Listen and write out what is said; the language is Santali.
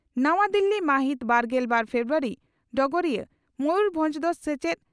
ᱱᱟᱣᱟ ᱫᱤᱞᱤ ᱢᱟᱦᱤᱛ ᱵᱟᱨᱜᱮᱞ ᱵᱟᱨ ᱯᱷᱮᱵᱨᱩᱣᱟᱨᱤ (ᱰᱚᱜᱚᱨᱤᱭᱟᱹ) ᱺ ᱢᱚᱭᱩᱨᱵᱷᱚᱸᱡᱽ ᱫᱚ ᱥᱮᱪᱮᱫ